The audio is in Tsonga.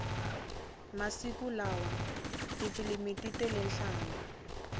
masiku lawa tifilimi ti tele nhlambha